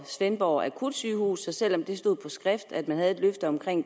svendborg akutsygehus at selv om det stod på skrift at de havde et løfte om